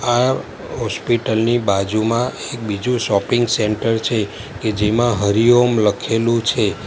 આ હોસ્પિટલ ની બાજુમાં બીજું શોપિંગ સેન્ટર છે કે જેમાં હરિઓમ લખેલું છે.